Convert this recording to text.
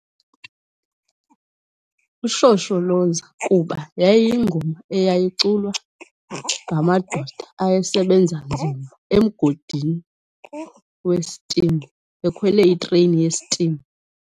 UShosholoza kuba yayiyingoma eyayiculwa ngamadoda ayesebenza nzima emgodini westim, ekhwele itreyini yestim.